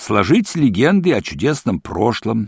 сложить легенды о чудесном прошлом